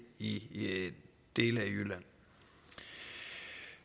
i dele af jylland